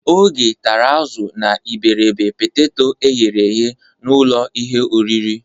Ogechi tara azụ na iberibe peteto eghere eghe n'ụlọ ihe oriri.